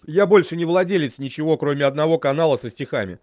я больше не владелец ничего кроме одного канала со стихами